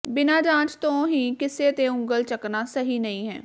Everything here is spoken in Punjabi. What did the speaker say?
ਬਿਨਾ ਜਾਂਚ ਤੋਂ ਹੀ ਕਿਸੇ ਤੇ ਉੰਗਲ ਚੱਕਣਾ ਸਹੀ ਨਹੀਂ ਹੈ